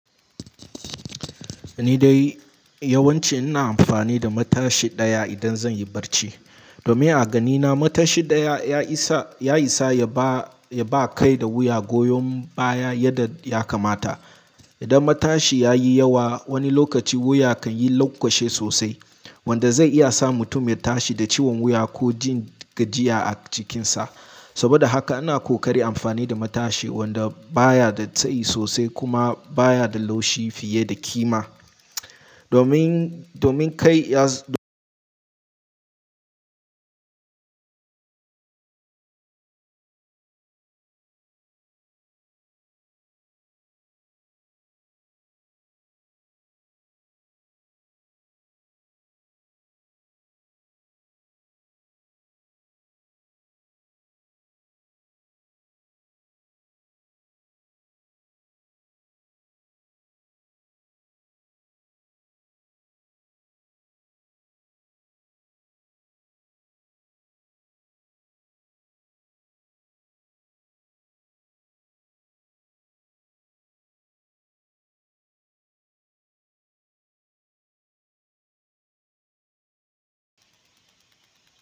Ni dai yawanci ina amfani da matashi ɗaya idan zan yi barci. Domin a ganina matashi ɗaya ya isa, ya isa ya ba, ya ba kai da wuya goyon baya yadda ya kamata. Idan matashi ya yi yawa wani lokaci wuya kan yi laƙwashe sosai wanda zai iya sa mutum ya tashi da ciwon wuya ko jin gajiya a jikinsa. Saboda haka ana ƙoƙari amfani da matashi wanda baya da tsayi sosai kuma baya da laushi fiye da kima. Domin, domin kai ya z-